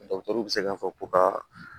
bɛ se k'a fɔ ko ka